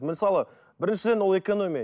мысалы біріншіден ол экономия